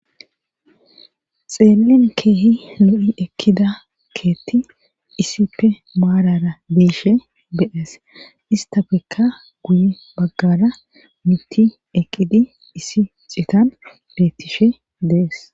xeellen keehi lo7i ekkida keetti isippe maarara biishe de'ees istafekka guye baggara mitti eqqidi isi citan bettishe dees